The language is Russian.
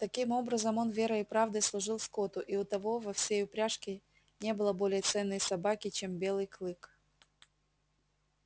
таким образом он верой и правдой служил скотту и у того во всей упряжке не было более ценной собаки чем белый клык